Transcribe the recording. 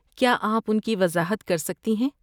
کیا آپ ان کی وضاحت کر سکتی ہیں؟